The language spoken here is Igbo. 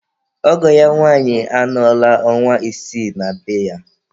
Ọgọ ya nwanyị anọla ọnwa isii na be ya.